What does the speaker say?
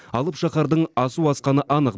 алып шаһардың асу асқаны анық